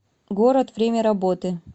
город время работы